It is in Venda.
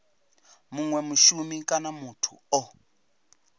munwe mushumi kana muthu o